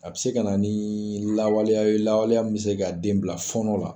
A bi se ka na ni lawaleyaw ye lawaleya mun be se ka den bila fɔɔnɔ la.